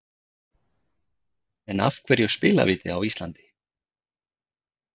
En af hverju spilavíti á Íslandi?